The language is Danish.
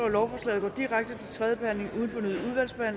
lovforslaget går direkte